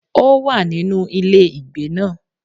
Ó wà nínú ilé ìgbé náà